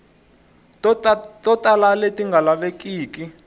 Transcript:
to tala leti nga lavekiki